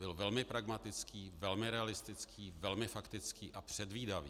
Byl velmi pragmatický, velmi realistický, velmi faktický a předvídavý.